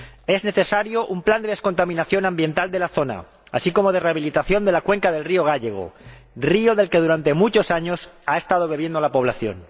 Es necesario un plan de descontaminación ambiental de la zona, así como de rehabilitación de la cuenca del río Gállego, río del que durante muchos años ha estado bebiendo la población.